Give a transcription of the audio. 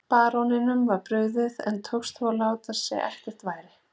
Baróninum var brugðið en tókst þó að láta sem ekkert væri.